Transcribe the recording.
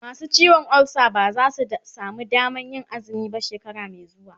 masu ciwon ulsa ba zasu samu Damanr Yin azumi ba shekara Mai xuwa